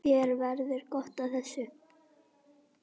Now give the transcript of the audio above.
Þér verður gott af þessu